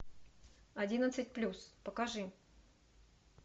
одиннадцать плюс покажи